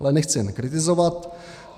Ale nechci jen kritizovat.